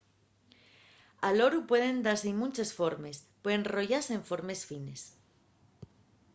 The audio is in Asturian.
al oru pueden dáse-y munches formes puede enrollase en formes fines